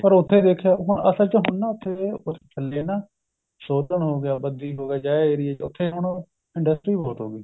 ਪਰ ਉੱਥੇ ਦੇਖਿਓ ਹੁਣ ਅਸਲ ਚ ਹੁਣ ਨਾ ਉੱਥੇ ਥੱਲੇ ਨਾ ਸੋਲਨ ਹੋਗਿਆ ਬੱਦੀ ਹੋਗਿਆ ਇਹ area ਚ ਉੱਥੇ ਹੁਣ industry ਬਹੁਤ ਹੋਗੀ